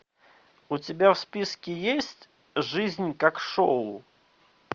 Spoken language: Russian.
у тебя в списке есть жизнь как шоу